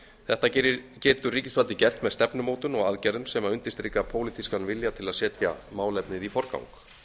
þetta getur ríkisvaldið gert með stefnumótun og aðgerðum sem undirstrika pólitískan vilja til að setja málefnið í forgang